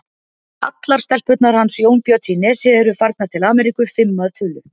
Allar stelpurnar hans Jónbjörns í Nesi eru farnar til Ameríku, fimm að tölu.